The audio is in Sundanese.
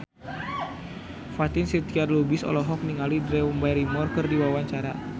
Fatin Shidqia Lubis olohok ningali Drew Barrymore keur diwawancara